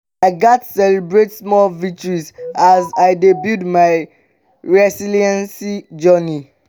i gats celebrate small victories as i dey build my resilience journey.